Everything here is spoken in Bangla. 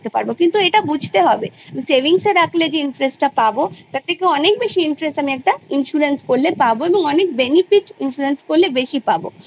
কিন্তু এটা বুঋতে হবে savings এ রাখলে যে interest পাবো তার থেকে অনেক বেশি interest আমি একটা insurance করলে পাবো এবং অনেক benefit বেশি পাবো।